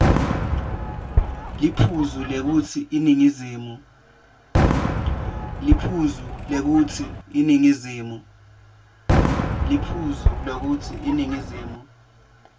liphuzu lekutsi iningizimu